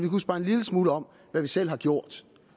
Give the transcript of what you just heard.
huske bare en lille smule om hvad vi selv har gjort